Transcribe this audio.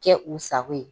Kɛ u sago ye